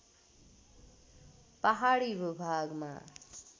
पहाडी भूभागमा